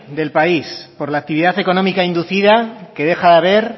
del país por la actividad económica inducida que deja de haber